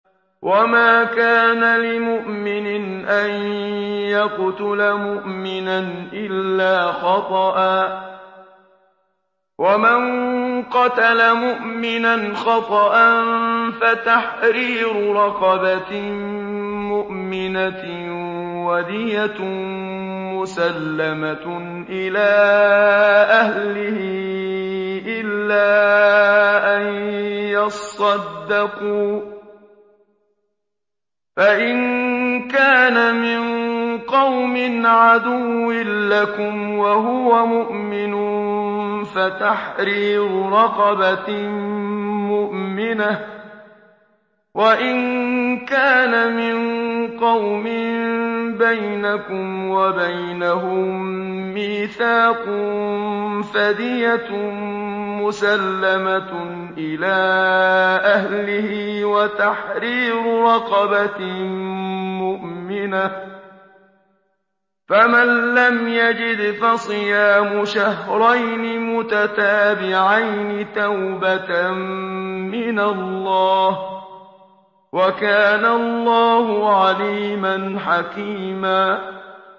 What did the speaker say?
وَمَا كَانَ لِمُؤْمِنٍ أَن يَقْتُلَ مُؤْمِنًا إِلَّا خَطَأً ۚ وَمَن قَتَلَ مُؤْمِنًا خَطَأً فَتَحْرِيرُ رَقَبَةٍ مُّؤْمِنَةٍ وَدِيَةٌ مُّسَلَّمَةٌ إِلَىٰ أَهْلِهِ إِلَّا أَن يَصَّدَّقُوا ۚ فَإِن كَانَ مِن قَوْمٍ عَدُوٍّ لَّكُمْ وَهُوَ مُؤْمِنٌ فَتَحْرِيرُ رَقَبَةٍ مُّؤْمِنَةٍ ۖ وَإِن كَانَ مِن قَوْمٍ بَيْنَكُمْ وَبَيْنَهُم مِّيثَاقٌ فَدِيَةٌ مُّسَلَّمَةٌ إِلَىٰ أَهْلِهِ وَتَحْرِيرُ رَقَبَةٍ مُّؤْمِنَةٍ ۖ فَمَن لَّمْ يَجِدْ فَصِيَامُ شَهْرَيْنِ مُتَتَابِعَيْنِ تَوْبَةً مِّنَ اللَّهِ ۗ وَكَانَ اللَّهُ عَلِيمًا حَكِيمًا